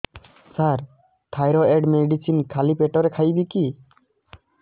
ସାର thyroid medicine ଖାଲି ପେଟରେ ଖାଇବି କି